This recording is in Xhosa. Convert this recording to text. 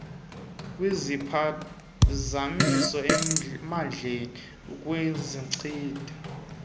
kwiziphazamiso emandleni ukusindisa